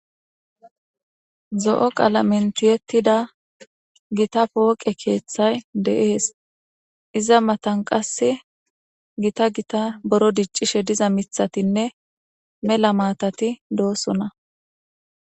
Zo'o qaalaeni tiyettida gita pooqe keethay deees iza matan qasse gita gita boro diccishe diza mithatinne mela maatati dosona